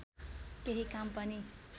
केही काम पनि